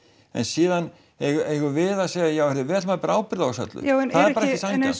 en síðan eigum við að segja já heyrðu við ætlum að bera ábyrgð á þessu öllu saman já en er ekki